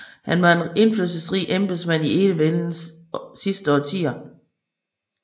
Han var en indflydelsesrig embedsmand i enevældens sidste årtier